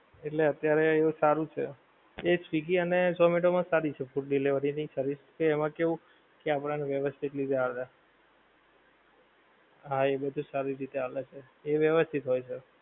એટલે અત્યારે એવું સારું છે. એ સ્વીગી અને ઝોમેટો માં સારી છે food delivery ની service કે એમાં કેવુ કે આપડા ને વ્યવસ્થિત રીતે આલે. હા એ બધુ સારી રીતે આલે છે. એ વ્યવસ્થિત હોય છે.